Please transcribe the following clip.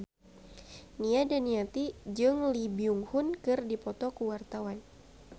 Nia Daniati jeung Lee Byung Hun keur dipoto ku wartawan